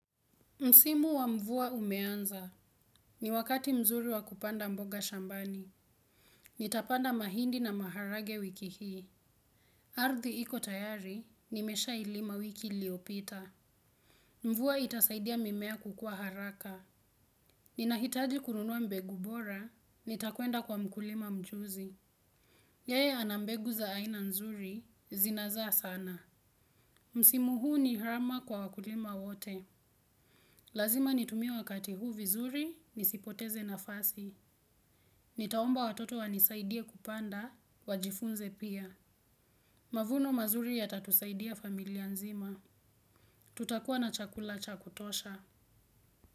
Msimu wa mvua umeanza. Ni wakati mzuri wa kupanda mboga shambani. Nitapanda mahindi na maharage wiki hii. Ardhi iko tayari, nimeshailima wiki liopita. Mvua itasaidia mimea kukua haraka. Ninahitaji kununua mbegu bora, nitakwenda kwa mkulima mjuzi. Yeye ana mbegu za aina nzuri, zinazaa sana. Msimu huu ni rama kwa wakulima wote. Lazima nitumie wakati huu vizuri, nisipoteze na fasi. Nitaomba watoto wanisaidie kupanda, wajifunze pia. Mavuno mazuri yatatusaidia familia nzima. Tutakuwa na chakula cha kutosha.